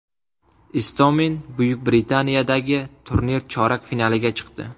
Istomin Buyuk Britaniyadagi turnir chorak finaliga chiqdi.